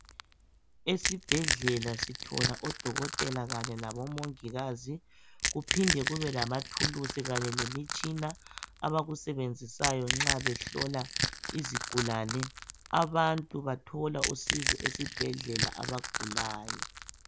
Esibhedlela sithola odokotela kanye labomungikazi, kuphinde kabe lemitshina abakusebenzisayo nxa behloba izigulane. Abantu bathola usizo esibhedlela abagulayo.